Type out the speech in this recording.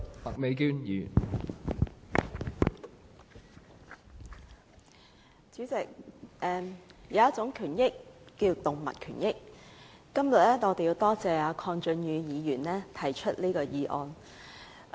代理主席，有一種權益叫動物權益，今天我要多謝鄺俊宇議員提出這項議案。